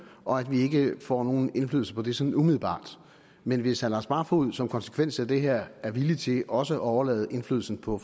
og at vi ikke får nogen indflydelse på det sådan umiddelbart men hvis herre lars barfoed som en konsekvens af det her er villig til også at overlade indflydelsen på